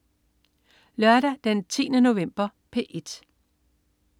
Lørdag den 10. november - P1: